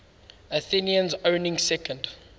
athenians owning second